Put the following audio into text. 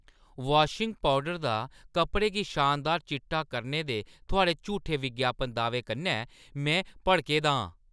Washing powder दा कपड़ें गी शानदार चिट्टा करने दे थुआढ़े झूठे विज्ञापन दाह्‌वें कन्नै में भड़के दा आं।